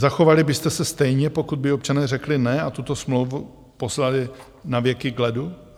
Zachovali byste se stejně, pokud by občané řekli "ne" a tuto smlouvu poslali navěky k ledu?